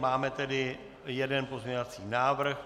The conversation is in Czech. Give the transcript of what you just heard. Máme tedy jeden pozměňovací návrh.